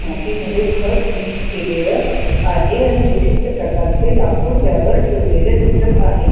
मातीमध्ये खत मिक्स केलेल आहे आणि विशिष्ट प्रकारचे लाकूड त्यावर ठेवलेले दिसत आहे.